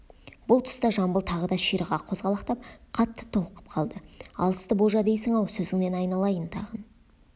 бұл тұста жамбыл тағы да ширыға қозғалақтап қатты толқып қалды алысты болжа дейсің-ау сөзіңнен айналайын тағын